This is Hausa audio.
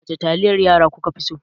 Wace taliyar yan yara kuka fi so?